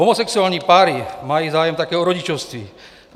Homosexuální páry mají zájem také o rodičovství.